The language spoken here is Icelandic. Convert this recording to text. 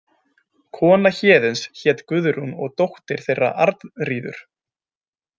Kona Héðins hét Guðrún og dóttir þeirra Arnríður.